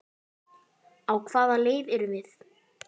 Á hvaða leið erum við?